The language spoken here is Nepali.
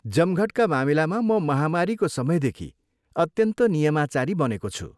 जमघटका मामिलामा म महामारीको समयदेखि अत्यन्त नियमाचारी बनेको छु।